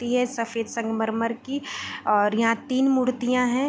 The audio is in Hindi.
मूर्ति है सफ़ेद संगमरमर की और यहाँ तीन मूर्तियाँ हैं ।